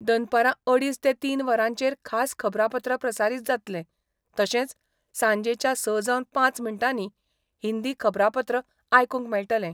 दनपरा अडीच ते तीन वरांचेर खास खबरापत्र प्रसारीत जातले, तशेच सांजेच्या स जांवन पांच मिनटांनी हिंदी खबरापत्र आयकुंक मेळटले.